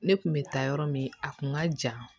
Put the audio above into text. Ne kun bɛ taa yɔrɔ min a kun ka jan